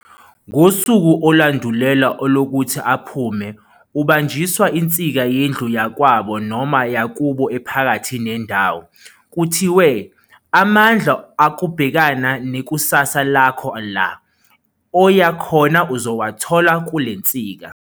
Ngosuku olandulela olokuthi aphume ubanjiswa insika yendlu yakwabo noma yakubo ephakathi nendawo, kuthiwe "amandla okubhekana nekusasa lakho la oyakhona uzowathola kulensika"